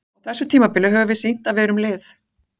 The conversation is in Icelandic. Á þessu tímabili höfum við sýnt að við erum lið.